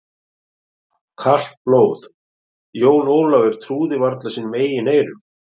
Kalt blóð, Jón Ólafur trúði varla sínum eigin eyrum.